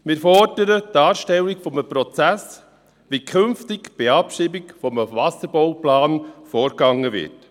Wir fordern die Darstellung eines Prozesses, wie künftig bei einer Abschreibung eines Wasserbauplans vorgegangen wird.